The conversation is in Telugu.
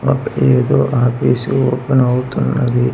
ఒక ఏదో ఆఫీస్ ఓపెన్ అవుతున్నది.